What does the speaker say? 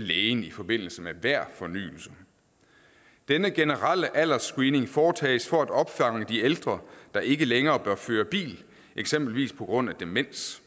lægen i forbindelse med hver fornyelse denne generelle aldersscreening foretages for at opfange de ældre der ikke længere bør føre bil eksempelvis på grund af demens